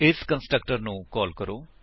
ਇਸ ਕੰਸਟਰਕਟਰ ਨੂੰ ਕਾਲ ਕਰੋ